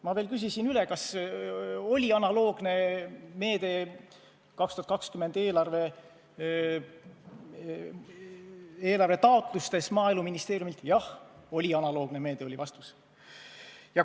Ma veel küsisin üle, kas oli analoogne meede Maaeluministeeriumi 2020. aasta eelarve taotlustes – jah, oli analoogne meede, oli vastus.